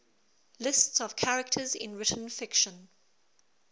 lists of characters in written fiction